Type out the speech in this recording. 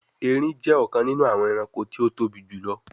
Èrin jé ọkàn nínú àwọn ẹranko tí o tóbi jùlọ